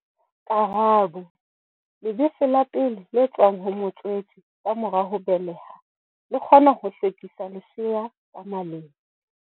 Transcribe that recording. Karabo. Lebese la pele le tswang ho motswetse ka mora ho beleha, le kgona ho hlwekisa lesea ka maleng.